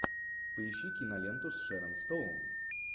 поищи киноленту с шерон стоун